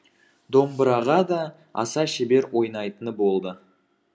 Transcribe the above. домбыраға да аса шебер ойнайтыны болды